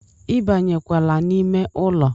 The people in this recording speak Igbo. ibanyekwala n'ime ụlọ